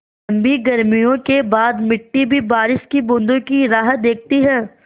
लम्बी गर्मियों के बाद मिट्टी भी बारिश की बूँदों की राह देखती है